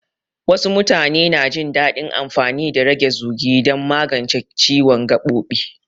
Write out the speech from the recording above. Wasu mutane na jin daɗin amfani da rage zugi don magance ciwon gaɓoɓi.